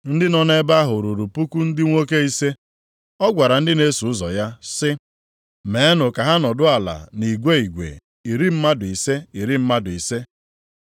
Ndị nọ nʼebe ahụ ruru puku ndị nwoke ise. Ọ gwara ndị na-eso ụzọ ya sị, “Meenụ ka ha nọdụ ala nʼigwe nʼigwe, iri mmadụ ise, iri mmadụ ise.”